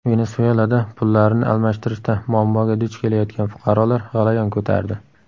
Venesuelada pullarini almashtirishda muammoga duch kelayotgan fuqarolar g‘alayon ko‘tardi.